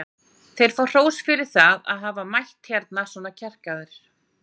Þeir fá hrós fyrir það að hafa mætt hérna svona kjarkaðir.